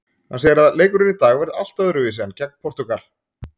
Hann segir að leikurinn í dag verði allt öðruvísi en gegn Portúgal.